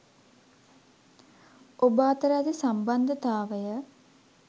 ඔබ අතර ඇති සම්බන්ධතාවය